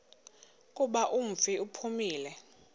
kuba umfi uphumile